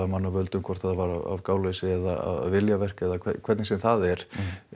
mannavöldum hvort það var af gáleysi eða viljaverk eða hvernig sem það er